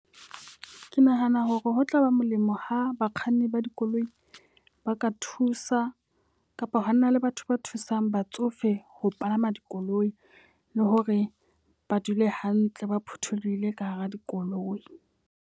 Ke nahana hore ho tlaba molemo ha bakganni ba dikoloi ba ka thusa kapa hona le batho ba thusang batsofe ho palama dikoloi. Le hore ba dule hantle ba phutholohile ka hara dikoloi.